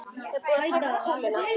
Er búið að taka kúluna?